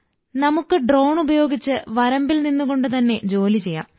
നമുക്ക് ഡ്രോൺ ഉപയോഗിച്ച് വരമ്പിൽ നിന്നുകൊണ്ട് തന്നെ ജോലി ചെയ്യാം